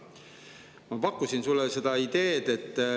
Ma pakkusin sulle ühe idee.